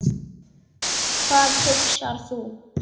Hvað hugsar þú?